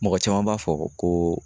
Mɔgɔ caman b'a fɔ ko